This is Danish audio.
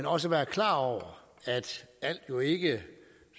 også være klar over at alt jo ikke